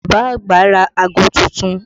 Bàbá àgbà ra aago tuntun